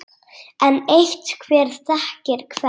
Enn eitt: Hver þekkir hvern?